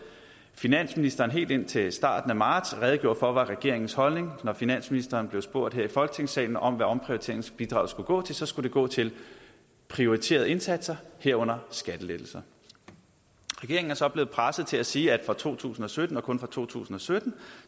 finansministeren helt indtil starten af marts redegjorde for var regeringens holdning når finansministeren blev spurgt her i folketingssalen om hvad omprioriteringsbidraget skulle gå til så skulle det gå til prioriterede indsatser herunder skattelettelser regeringen er så blevet presset til at sige at for to tusind og sytten og kun for to tusind og sytten